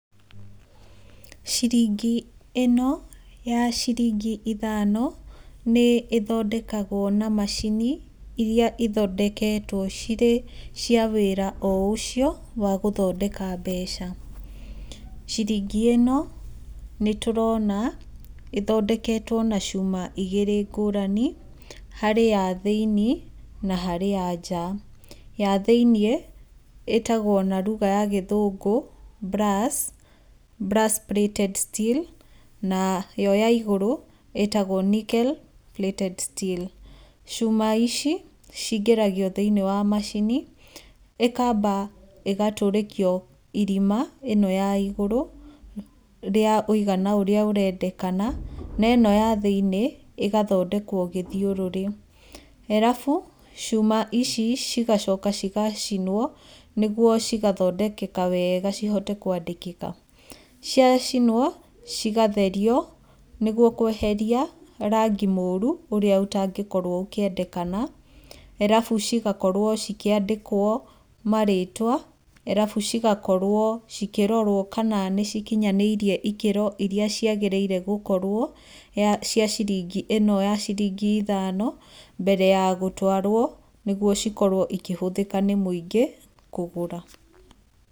Ciringi ĩno ya ciringi ithano nĩ ĩthondekagwo na macini iria cithondeketwo cirĩ cia wĩra o ũcio wa gũthondeka mbeca. Ciringi ĩno nĩ tũrona ĩthondeketwo na cuma igĩrĩ ngũrani, harĩ ya thĩiniĩ na harĩ ya nja. Ya thĩinĩ ĩtagwo na ruga ya gĩthũngũ brass, brass-plated steel nayo ya igũru ĩĩtagwo nickel-plated steel. Cuma ici ciingĩragio thĩiniĩ wa macini ĩkamba ĩgatũrĩkio irima, ĩno ya igũrũ rĩa ũigana ũrĩa ũrendekana na ĩno ya thĩiniĩ ĩgathondekwo gĩthiũrũrĩ. Arabu, cuma ici cigacoka cigacinwo nĩguo cigathondekeka wega cihote kwandĩkĩka. Ciacinwo, cigatherio nĩguo kweheria rangi mũũru ũrĩa ũtangĩkorwo ũkĩendekana, arabu cigakorwo cikĩandĩkwo marĩtwa, arabu cigakorwo ikĩrorwo kana nĩ cikinyanĩirie ikĩro iria ciagĩrĩire gũkorwo cia ciringi ĩno ya ciringi ithano mbere ya gũtwarwo, nĩguo cikorwo ikĩhũthĩka nĩ mũingĩ kũgũra.